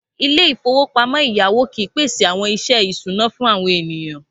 Ilé-ìfowópamọ́ ẹ̀yáwó kìí pèsè àwọn iṣẹ́ ìṣúná fún àwọn ènìyàn.